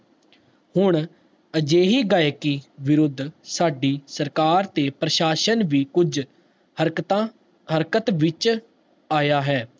ਹੁਣ ਅਜੇਹੀ ਗਾਇਕੀ ਵਿਰੁੱਧ ਸਾਡੀ ਸਰਕਾਰ ਤੇ ਪ੍ਰਸ਼ਾਸਨ ਵੀ ਕੁਛ ਹਰਕਤ ਵਿਚ ਆਯਾ ਹੈ